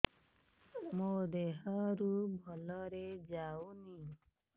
ମୋ ଦିହରୁ ଭଲରେ ଯାଉନି